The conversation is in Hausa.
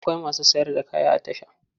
Akwai masu sayar da kaya a tasha.